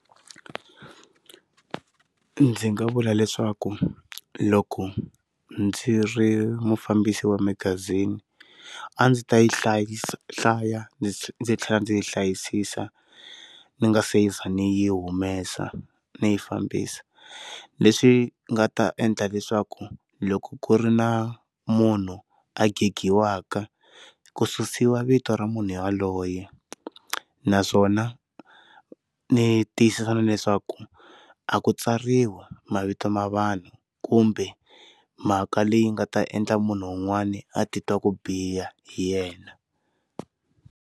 Ndzi nga vula leswaku loko ndzi ri mufambisi wa magazini a ndzi ta yi hlayisa hlaya ndzi tlhela ndzi yi hlayisisa ni nga seza ni yi humesa ndzi yi fambisa leswi nga ta endla leswaku loko ku ri na munhu a ngheghiwaka ku susiwa vito ra munhu ya loye naswona ndzi tiyisisa leswaku a ku tsariwa mavito ma vanhu kumbe mhaka leyi nga ta endla munhu wun'wani a titwa ku biha hi yena.